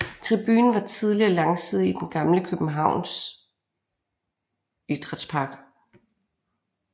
Tribunen var tidligere langside i den gamle Københavns Idrætspark